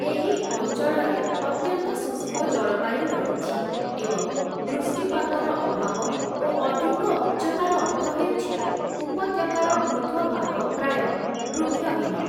ଏହି ଅଞ୍ଚଳରେ ଅତ୍ୟନ୍ତ ଶୁଷ୍କ ଜଳବାୟୁ ରହିଛି, ଏବଂ ବୃଷ୍ଟିପାତର ଅଭାବ ଓ ଅଧିକ ଉଚ୍ଚତାର ଅର୍ଥ ହେଉଛି ଉପତ୍ୟକାର ଉର୍ଦ୍ଧ୍ୱଭାଗ ପ୍ରାୟ ବୃକ୍ଷହୀନ ।